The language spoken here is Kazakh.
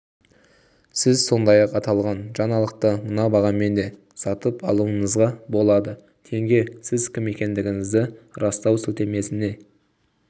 сіз сондай-ақ аталған жаңалықты мына бағамен де сатып алуыңызға болады тенге сіз кім екендігіңізді растау сілтемесіне